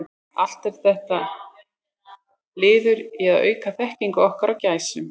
Allt er þetta liður í að auka þekkingu okkar á gæsum.